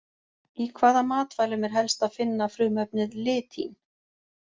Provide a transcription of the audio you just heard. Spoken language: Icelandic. Í hvaða matvælum er helst að finna frumefnið litín?